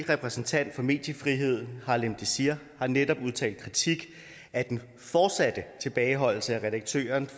repræsentant for mediefrihed harlem désir har netop udtalt kritik af den fortsatte tilbageholdelse af redaktøren